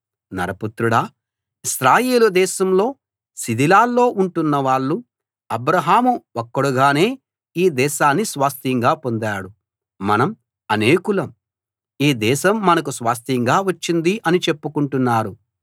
నరపుత్రుడా ఇశ్రాయేలు దేశంలో శిథిలాల్లో ఉంటున్నవాళ్ళు అబ్రాహాము ఒక్కడుగానే ఈ దేశాన్ని స్వాస్థ్యంగా పొందాడు మనం అనేకులం ఈ దేశం మనకు స్వాస్థ్యంగా వచ్చింది అని చెప్పుకుంటున్నారు